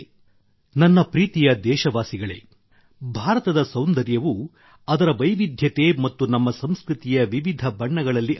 ನನ್ನ ಪ್ರೀತಿಯ ದೇಶವಾಸಿಗಳೇ ಭಾರತದ ಸೌಂದರ್ಯವು ಅದರ ವೈವಿಧ್ಯತೆ ಮತ್ತು ನಮ್ಮ ಸಂಸ್ಕೃತಿಯ ವಿವಿಧ ಬಣ್ಣಗಳಲ್ಲಿ ಅಡಗಿದೆ